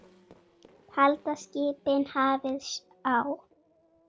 Halda skipin hafið á.